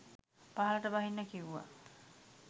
පහළට බහින්න කිව්වා.